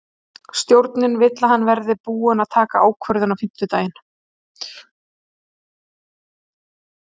Stjórnin vill að hann verði búinn að taka ákvörðun á fimmtudaginn.